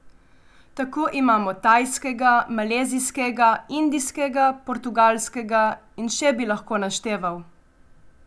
Tako imamo tajskega, malezijskega, indijskega, portugalskega in še bi lahko našteval.